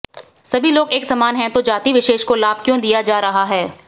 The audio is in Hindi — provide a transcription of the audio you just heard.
सभी लोग एक समान हैं तो जाति विशेष को लाभ क्यों दिया जा रहा है